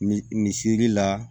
Misli la